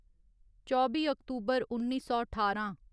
चौबी अक्तूबर उन्नी सौ ठारां